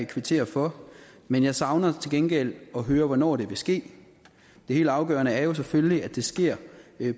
kvittere for men jeg savner til gengæld at høre hvornår det vil ske det helt afgørende er selvfølgelig at det sker